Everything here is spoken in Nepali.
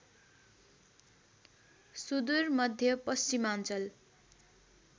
सुदूर मध्य पश्चिमाञ्चल